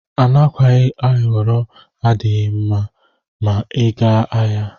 Anakwayi ayọrọ adighi mma ma iga ahia.